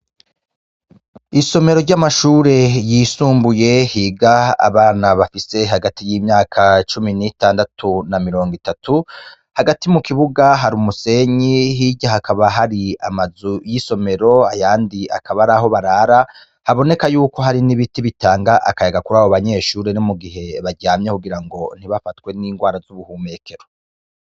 Isomero ry'amashure yisumbuye higa abana bafise hagati y'imyaka cumi n'itandatu na mirongo itatu, hagati mu kibuga hari umusenyi, hirya hakaba hari amazu y'isomero, ayandi akaba ar'aho barara, haboneka yuko hari n'ibiti bitanga akayaga kuri abo banyeshure mu gihe baryamye kugira ngo ntibafatwe n'ingwara z'ubuhumekero.